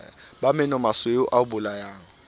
bo menomasweu ba o bolayang